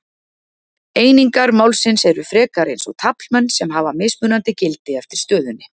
Einingar málsins eru frekar eins og taflmenn sem hafa mismunandi gildi eftir stöðunni.